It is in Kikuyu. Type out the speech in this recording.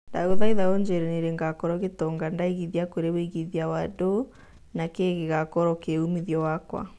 ndagũthaitha ũjĩire nĩ rĩ gakorwo gĩtonga ndaĩgĩthia kũri wĩigĩthĩa wa dow nĩ kĩ gĩgakorwo kĩ umithio wakwa